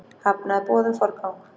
Hafnaði boði um forgang